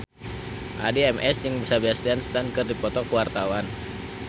Addie MS jeung Sebastian Stan keur dipoto ku wartawan